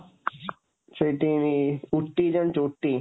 ସେଇଠି ବି ଉଟ୍ଟି ଜାଣିଛୁ, ଉଟ୍ଟି?